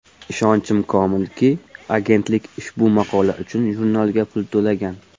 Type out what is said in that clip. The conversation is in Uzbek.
Ishonchim komilki, agentlik ushbu maqola uchun jurnalga pul to‘lagan.